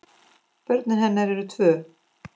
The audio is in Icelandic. Börn hennar eru tvö.